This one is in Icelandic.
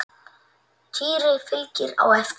Týri fylgdi á eftir.